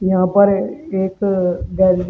यहां पर एक अ गैलरी --